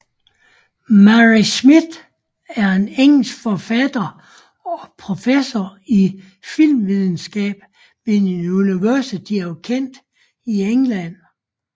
Murray Smith er en engelsk forfatter og professor i filmvidenskab ved University of Kent i England